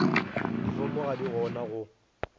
difomo ga di gona go